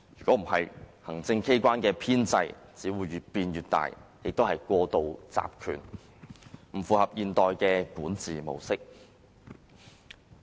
否則，行政機關的編制只會越變越大，亦過度集權，不符合現代管治模式。